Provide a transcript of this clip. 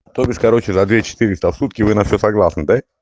автобус короче за две четыреста в сутки вы на всё согласны